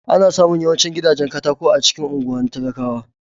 Ana samun yawancin gidajen katako a cikin unguwar talakawa.